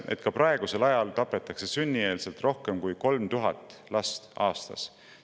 Ka praegusel ajal tapetakse enne sündimist rohkem kui 3000 last aastas.